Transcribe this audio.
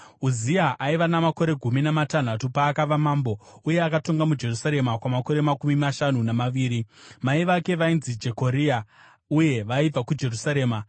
Uzia aiva namakore gumi namatanhatu paakava mambo uye akatonga muJerusarema kwamakore makumi mashanu namaviri. Mai vake vainzi Jekoria uye vaibva kuJerusarema.